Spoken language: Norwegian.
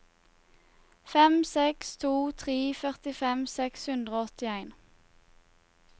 fem seks to tre førtifem seks hundre og åttien